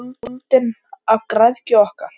Höfin eru orðin úldin af græðgi okkar.